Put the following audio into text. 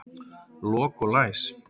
Lok og læs.